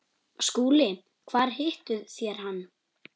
SKÚLI: Hvar hittuð þér hann?